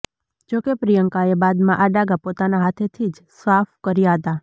જોકે પ્રિયંકાએ બાદમાં આ દાગા પોતાના હાથેથી જ સાફ કર્યા હતા